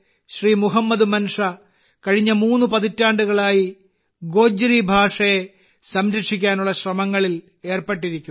മുഹമ്മദ് മൻഷാ കഴിഞ്ഞ മൂന്ന് പതിറ്റാണ്ടുകളായി ഗോജ്രി ഭാഷയെ സംരക്ഷിക്കാനുള്ള ശ്രമങ്ങളിൽ ഏർപ്പെട്ടിരിക്കുകയാണ്